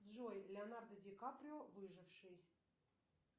джой леонардо ди каприо выживший